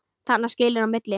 Þarna skilur á milli.